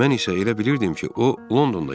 Mən isə elə bilirdim ki, o Londonda yaşayır.